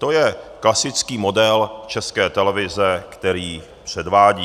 To je klasický model České televize, který předvádí.